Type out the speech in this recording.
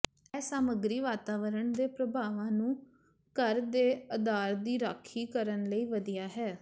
ਇਹ ਸਾਮੱਗਰੀ ਵਾਤਾਵਰਣ ਦੇ ਪ੍ਰਭਾਵਾਂ ਤੋਂ ਘਰ ਦੇ ਅਧਾਰ ਦੀ ਰਾਖੀ ਕਰਨ ਲਈ ਵਧੀਆ ਹਨ